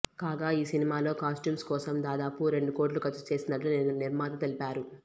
కాగా ఈ సినిమాలో కాస్ట్యూమ్స్ కోసం దాదాపు రెండు కోట్లు ఖర్చు చేసినట్లు నిర్మాత తెలిపారు